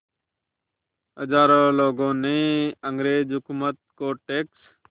हज़ारों लोगों ने अंग्रेज़ हुकूमत को टैक्स